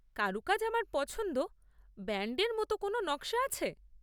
কারুকাজ আমার পছন্দ। ব্যান্ডের মতন কোন নকশা আছে?